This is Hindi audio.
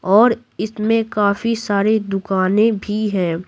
और इसमें काफी सारी दुकानें भी हैं।